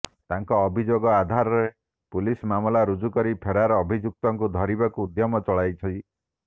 ତାଙ୍କ ଅଭିଯୋଗ ଆଧାରରେ ପୁଲିସ ମାମଲା ରୁଜୁ କରି ଫେରାର ଅଭିଯୁକ୍ତଙ୍କୁ ଧରିବାକୁ ଉଦ୍ୟମ ଚଳାଇଛି